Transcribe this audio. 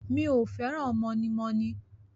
Mi ò fẹ́ràn mọ̀nímọ̀ní.